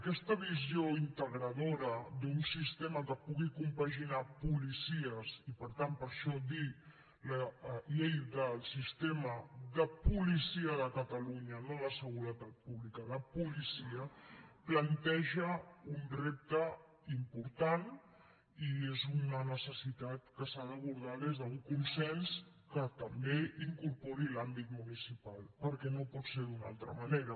aquesta visió integradora d’un sistema que pugui compaginar policies i per tant per això dir ne la llei de sistema de policia de catalunya no de seguretat pública de policia planteja un repte important i és una necessitat que s’ha d’abordar des d’un consens que també incorpori l’àmbit municipal perquè no pot ser d’una altra manera